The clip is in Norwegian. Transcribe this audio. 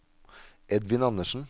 Edvin Andersen